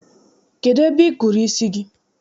Kedụ ebe I kụrụ isi gị?